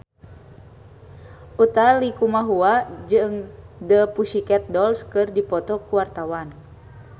Utha Likumahua jeung The Pussycat Dolls keur dipoto ku wartawan